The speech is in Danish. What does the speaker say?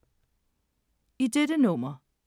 I dette nummer